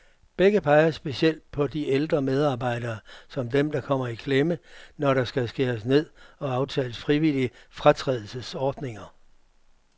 Begge peger specielt på de ældre medarbejdere, som dem, der kommer i klemme, når der skal skæres ned og aftales frivillige fratrædelsesordninger.